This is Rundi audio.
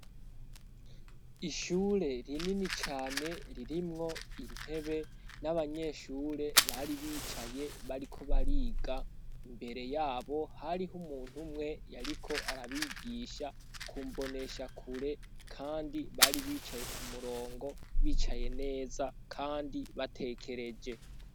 Ishure rinini cane ririmwo intebe n'abanyeshure bari bicaye bariko bariga. Imbere yabo hariho umuntu umwe yariko arabigisha kumboneshakure kandi bari bicaye k'umurongo bicaye neza kandi batekereje.